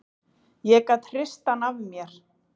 Ég gat hrist hann af mér.